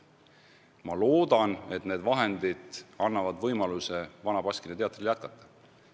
Ma loodan, et need vahendid annavad Vana Baskini Teatrile võimaluse jätkata.